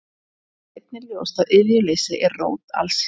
Þá virðist einnig ljóst að iðjuleysi er rót alls ills.